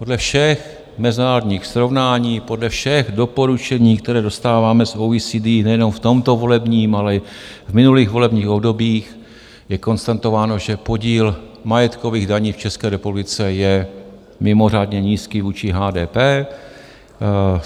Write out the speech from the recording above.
Podle všech mezinárodních srovnání, podle všech doporučení, které dostáváme z OECD nejenom v tomto volebním, ale i v minulých volebních obdobích je konstatováno, že podíl majetkových daní v České republice je mimořádně nízký vůči HDP.